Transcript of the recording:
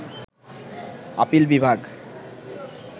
appeal বিভাগ